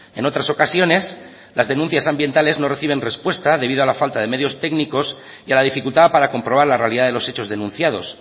en otras ocasiones las denuncias ambientales no reciben respuesta debido a la falta de medios técnicos y a la dificultad para comprobar la realidad de los hechos denunciados